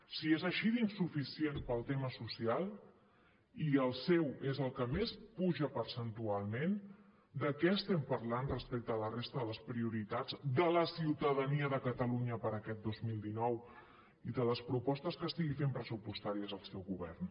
si és així d’insuficient pel tema social i el seu és el que més puja percentualment de què estem parlant respecte a la resta de les prioritats de la ciutadania de catalunya per aquests dos mil dinou i de les propostes que estigui fent pressupostàries el seu govern